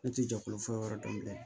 Ne ti jɛkulu fɔ yɔrɔ dɔn bilen